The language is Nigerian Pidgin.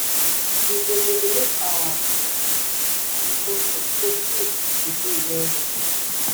we go develop our um agriculture so food go dey wellwell